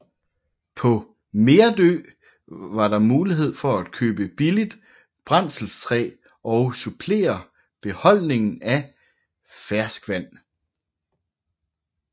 På Merdø var der mulighed for at købe billigt brændselstræ og supplere beholdningen af ferskvand